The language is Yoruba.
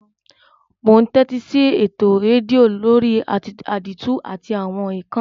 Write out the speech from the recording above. Mo n tẹ́tísí eto redio lórí àdìtú àti àwon ékán